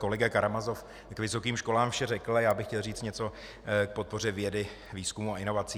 Kolega Karamazov k vysokým školám vše řekl a já bych chtěl říci něco k podpoře vědy, výzkumu a inovací.